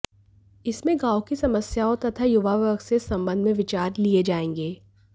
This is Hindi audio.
इसमें गांव की समस्याओं तथा युवा वर्ग से इस संबंध में विचार लिए जाएंगे